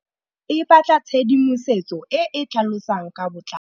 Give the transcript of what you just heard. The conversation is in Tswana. Tlhalefô o batla tshedimosetsô e e tlhalosang ka botlalô.